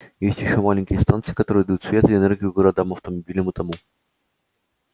есть ещё маленькие станции которые дают свет и энергию городам автомобилям и тому